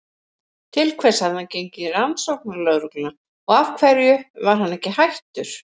Til hvers hafði hann gengið í Rannsóknarlögregluna og af hverju var hann ekki hættur?